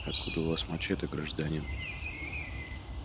откуда у вас мачете гражданин